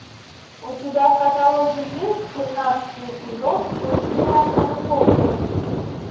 у тебя в каталоге есть тринадцатый эпизод блудливая калифорния